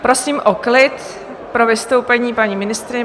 Prosím o klid pro vystoupení paní ministryně.